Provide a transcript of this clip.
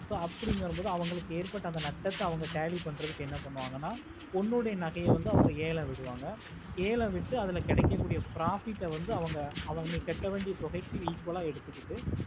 so அப்புடின்னு வர மோடு அவங்களுக்கு ஏற்பட்ட அந்த நட்டதா அவங்க tally பண்றதுக்கு அவங்க என்ன பனுவங்கனா உங்களோட நகையே ஏலம் விடுவாங்க ஏலம் விட்டு அதுல கெடக்கக்கூடிய profit ஆஹ் வந்து அவங்க நீ கேட்ட கூடிய தொகைக்கு equal ஆஹ் இருக்கும்